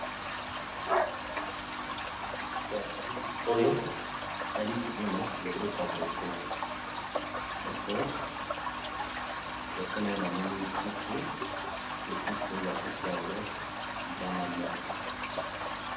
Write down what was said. Na bilili oyo nali komona loboko ya ndeko moko, boso naye namoni puku mpe puku oyo bapesi yango lilala moko.